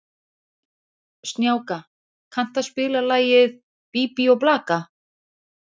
Snjáka, kanntu að spila lagið „Bí bí og blaka“?